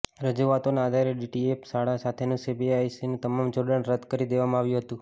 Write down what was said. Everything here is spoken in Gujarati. રજૂઆતોના આધારે ડીપીએસ શાળા સાથેનું સીબીએસઇનું તમામ જોડાણ રદ્દ કરી દેવામાં આવ્યું હતું